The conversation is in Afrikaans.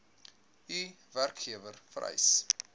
u werkgewer vereis